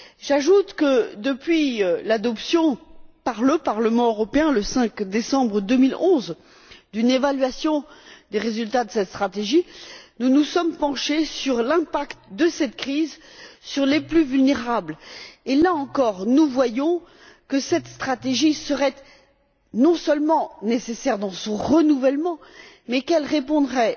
J'ajoute que, depuis l'adoption par le Parlement européen, le 5 décembre 2011, d'une évaluation des résultats de cette stratégie, nous nous sommes penchés sur l'impact de la crise sur les plus vulnérables. Là encore, nous voyons que cette stratégie, il serait non seulement nécessaire de la renouveler, mais qu'elle répondrait